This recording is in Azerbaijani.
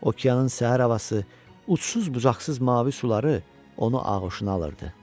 Okeanın səhər havası, ucsuz-bucaqsız mavi suları onu ağuşuna alırdı.